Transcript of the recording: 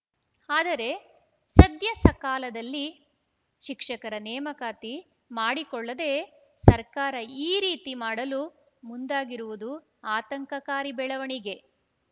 ಆದರೆ ಸದ್ಯ ಸಕಾಲದಲ್ಲಿ ಶಿಕ್ಷಕರ ನೇಮಕಾತಿ ಮಾಡಿಕೊಳ್ಳದೇ ಸರ್ಕಾರ ಈ ರೀತಿ ಮಾಡಲು ಮುಂದಾಗಿರುವದು ಆತಂಕಕಾರಿ ಬೆಳವಣಿಗೆ